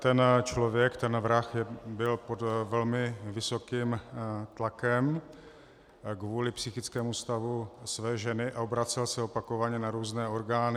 Ten člověk, ten vrah, byl pod velmi vysokým tlakem kvůli psychickému stavu své ženy a obracel se opakovaně na různé orgány.